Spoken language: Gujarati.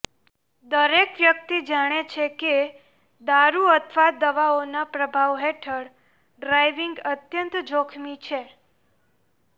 દરેક વ્યક્તિ જાણે છે કે દારૂ અથવા દવાઓના પ્રભાવ હેઠળ ડ્રાઇવિંગ અત્યંત જોખમી છે